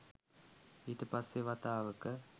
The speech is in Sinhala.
ඊට පස්සෙ වතාවක